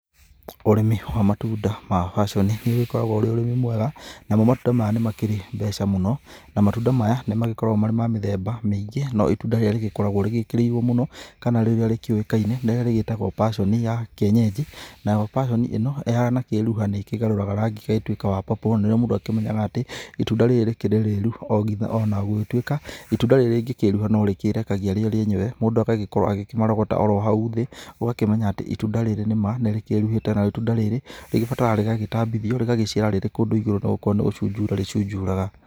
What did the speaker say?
Ũrĩmi wa matunda ma paconi nĩ ũkoragwo ũrĩ ũrĩmi mwega, namo matũnda maya nĩ makĩrĩ mbeca mũno na matunda maya nĩ magĩkoragwo marĩ ma mĩthemba mĩngiĩ no itũnda rirĩa rĩgĩkoragwo rĩgĩkĩrĩirwo mũno, kana rĩrĩa rĩkĩũĩkaine rĩrĩa rĩgĩtagwo paconi ya kĩenyeji. Nayo paconi ĩno ĩhana kĩruhani kĩgarũraga rangi ĩgatuĩka wa purple na nĩ rĩo mũndũ akĩmenyaga atĩ, ĩtunda rĩrĩ rĩkirĩ rĩrũ o gĩtha ona gugĩtũĩka itunda rĩrĩ rĩngĩkĩĩruha no rĩkĩrekagia rĩo rĩenyewe mũndũ agagikorwo agĩkĩmarogota o ro haũ thĩ, ũgakĩmenya itunda rĩrĩ ni ma nĩ rĩkiruhĩte na itunda rĩrĩ rĩgĩbataraga rĩgagĩtambĩthĩo rĩgagĩciara rĩrĩ kũndũ igũrũ na gũkorwo nĩ gũcunjura rĩcunjuraga.